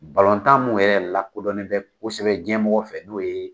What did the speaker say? Balontan min yɛrɛ lakodɔnen bɛ kosɛbɛ diɲɛmɔgɔ fɛ n'o ye